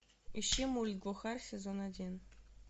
ищи мульт глухарь сезон один